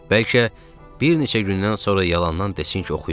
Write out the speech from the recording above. Bəlkə bir neçə gündən sonra yalandan desin ki, oxuyub?